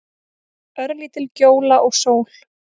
Örlítil gjóla og sól.